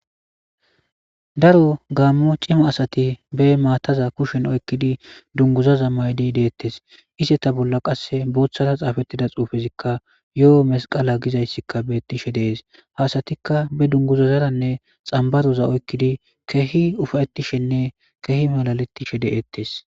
daro gaammo cima asati be maataza kushen oykkidi dunguzazammaydi deettes iseta bolla qasse booththara xaafettida xuufezikka yo7o masqala gizayssikka beettishe dees hasatikka be dunguzazaranne xambadoza oykkidi kehi ufayettishenne kehi malalettishe de'ettes.